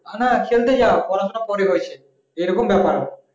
নানা খেলতে যাও পড়াশোনা পরে হয়েছে এরকম ব্যাপার